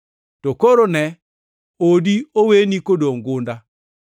To koro, ne, odi oweni kodongʼ gunda.